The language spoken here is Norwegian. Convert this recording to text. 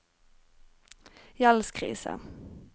gjeldskrise